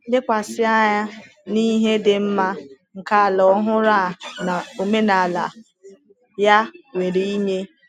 Lekwasị anya n’ihe dị mma nke ala ọhụrụ a na omenala ya nwere inye.